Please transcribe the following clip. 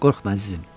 Qorxma əzizim.